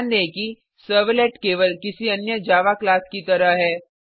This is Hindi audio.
ध्यान दें कि सर्वलेट केवल किसी अन्य जावा क्लास की तरह है